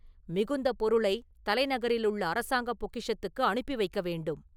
மிகுந்த பொருளைத் தலைநகரிலுள்ள அரசாங்க பொக்கிஷத்துக்கு அனுப்பி வைக்க வேண்டும்.